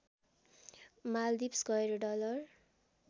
माल्दिप्स गएर डलर